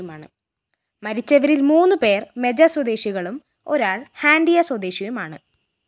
മരിച്ചവരില്‍ മൂന്നു പേര്‍ മെജ സ്വദേശികളും ഒരാള്‍ ഹാന്‍ഡിയ സ്വദേശിയുമാണ്